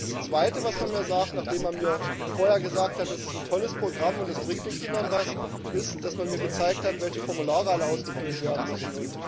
Das Zweite, was man mir sagt, nachdem man mir vorher gesagt hat, das ist ein tolles Programm und das bringt den Kindern etwas, ist, dass man mir gezeigt hat, welche Formulare alle ausgefüllt werden müssen.